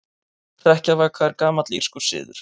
Hrekkjavaka er gamall írskur siður.